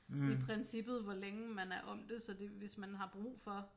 I princippet hvor længe man er om det så det hvis man har brug for